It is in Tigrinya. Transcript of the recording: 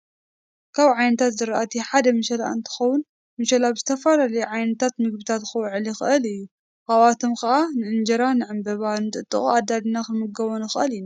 ካብ ዓይነታት ዝራእቲ ሓደ ምሸላ እነትከውን ምሸላ ብዝተፈላለዩ ዓይነታት ምግብታት ክውዕል ይክእል እዩ። ካብኣቶም ከዓ ንእንጀራ፣ ንዕበባ፣ ምጥጥቆ ኣዳሊና ክምገቦ ንክእል ኢና።